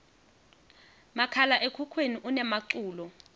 makhala ekhukhwini unemaculo